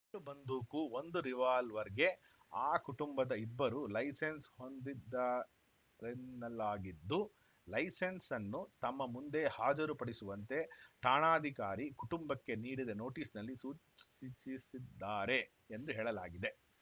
ಎರಡು ಬಂದೂಕು ಒಂದು ರಿವಾಲ್ವರ್‌ಗೆ ಆ ಕುಟುಂಬದ ಇಬ್ಬರು ಲೈಸೆನ್ಸ್‌ ಹೊಂದಿದ್ದಾರೆನ್ನಲಾಗಿದ್ದು ಲೈಸೆನ್ಸ್‌ನ್ನು ತಮ್ಮ ಮುಂದೆ ಹಾಜರು ಪಡಿಸುವಂತೆ ಠಾಣಾಧಿಕಾರಿ ಕುಟುಂಬಕ್ಕೆ ನೀಡಿದ ನೋಟಿಸ್‌ನಲ್ಲಿ ಸೂಚಿಸ್ಸಿ ಸ್ಸಿ ಸಿದ್ದಾರೆ ಎಂದು ಹೇಳಲಾಗಿದೆ